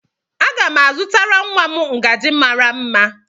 a ga m azụtara nwa m ngaji mara mma